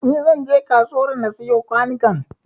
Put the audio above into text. Ni zan je kasuwar na siyo kwanukan